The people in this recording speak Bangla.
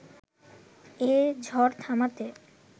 এ ঝড় থামাতে